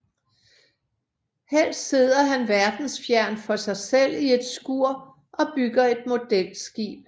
Helst sidder han verdensfjern for sig selv i et skur og bygger et modelskib